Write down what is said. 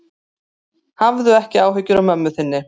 Hafðu ekki áhyggjur af mömmu þinni.